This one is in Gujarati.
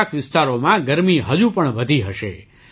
કેટલાક વિસ્તારોમાં ગરમી હજુ પણ વધી હશે